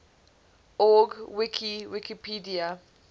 org wiki wikipedia